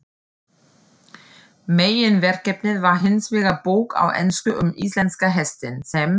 Meginverkefnið var hinsvegar bók á ensku um íslenska hestinn, sem